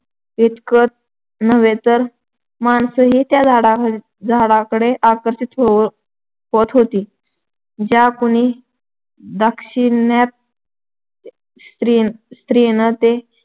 इतकंच नव्हे तर माणसंही त्या झाडा झाडाकडं आकर्षित होत होती. ज्या कुण्या दाक्षिणात् स्त्री स्त्रीनं